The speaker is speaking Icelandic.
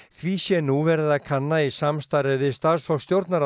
því sé nú verið að kanna í samstarfi við starfsfólk